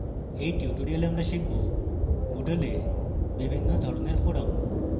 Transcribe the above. in tutorial আমরা শিখব: moodle বিভিন্ন ধরণের forums